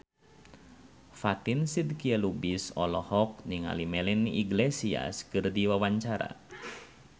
Fatin Shidqia Lubis olohok ningali Melanie Iglesias keur diwawancara